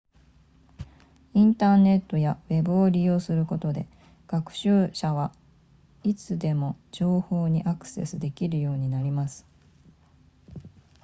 インターネットやウェブを利用することで学習者はいつでも情報にアクセスできるようになります